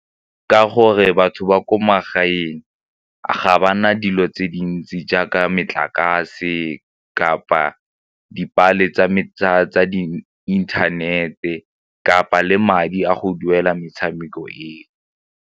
Ka gore batho ba ko magaeng ga ba na dilo tse dintsi jaaka metlakase kapa dipale tsa di inthanete kapa le madi a go duela metshameko e.